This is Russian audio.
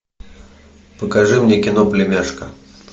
покажи мне кино племяшка